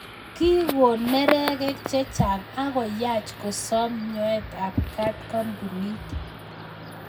Kikoon neregek chechang akoyaach kosaam nyoet ap kaat kampunit